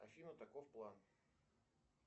афина таков план